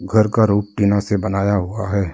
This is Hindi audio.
घर का रूफ टिनो से बनाया हुआ है।